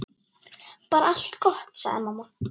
Bara allt gott, sagði mamma.